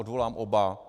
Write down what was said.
Odvolám oba.